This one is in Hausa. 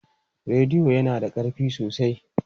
Rediyo na yana da ƙarfi sosai.